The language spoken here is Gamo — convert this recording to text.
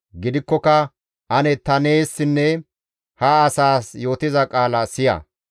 Gidikkoka ane ta neessinne ha asaas yootiza qaala siya.